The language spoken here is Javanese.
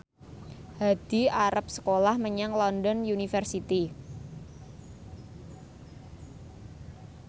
Hadi arep sekolah menyang London University